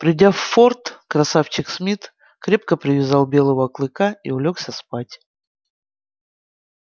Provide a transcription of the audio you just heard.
придя в форт красавчик смит крепко привязал белого клыка и улёгся спать